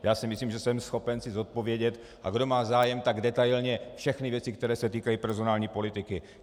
Já si myslím, že jsem schopen si zodpovědět, a kdo má zájem, tak detailně, všechny věci, které se týkají personální politiky.